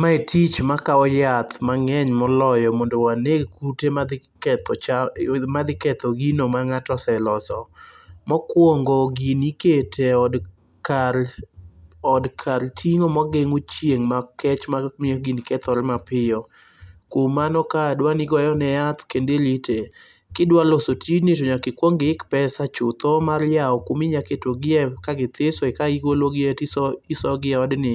Mae tich makawo yath mang'eny moloyo mondo waneg kute madhi ketho cham madhi ketho gino mang'ato oseloso. Mokuongo, gini ikete od kar od kar ting'o mageng'o chieng' makech mamiyo gini kethore mapiyo. Kuom mano kaa dwaro ni igoyone yath kendo nirite. Kidwa loso tijni to nyaka ikuong iik pesa chutho mar yawo kuma inyalo mketogie ka githiso kae igologie tisoyogi eodni